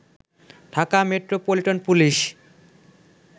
Dhaka metropolitan police